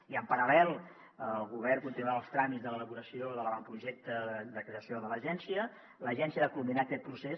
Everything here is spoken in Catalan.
i en paral·lel el govern continuarà els tràmits de l’elaboració de l’avantprojecte de creació de l’agència l’agència ha de culminar aquest procés